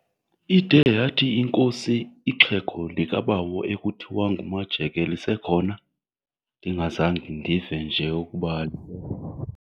Ide yathi inkosi, "Ixhego likabawo ekuthiwa nguMajeke lisekhona, ndingazange ndive nje ukuba?"